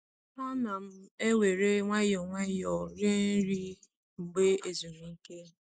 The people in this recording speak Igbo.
Ana m ewere nwayọọ nwayọọ rie nri mgbe ezumike.